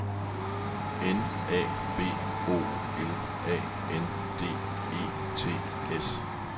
N A B O L A N D E T S